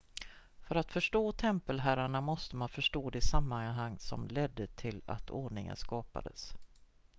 för att förstå tempelherrarna måste man förstå det sammanhang som ledde till att ordningen skapades